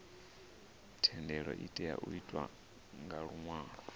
thendelo itea u itwa nga luṅwalo